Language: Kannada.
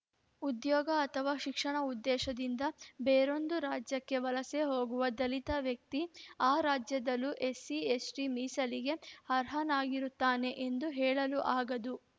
ಉದ್ಯೋಗ ಅಥವಾ ಶಿಕ್ಷಣ ಉದ್ದೇಶದಿಂದ ಬೇರೊಂದು ರಾಜ್ಯಕ್ಕೆ ವಲಸೆ ಹೋಗುವ ದಲಿತ ವ್ಯಕ್ತಿ ಆ ರಾಜ್ಯದಲ್ಲೂ ಎಸ್ಸಿಎಸ್ಟಿ ಮೀಸಲಿಗೆ ಅರ್ಹನಾಗಿರುತ್ತಾನೆ ಎಂದು ಹೇಳಲು ಆಗದು